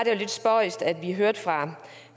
lidt spøjst at vi hørte fra